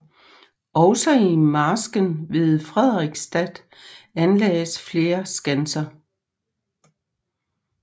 Også i marsken ved Frederiksstad anlagdes flere skanser